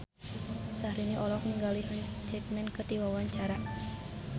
Syahrini olohok ningali Hugh Jackman keur diwawancara